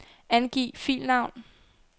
Angiv filnavn.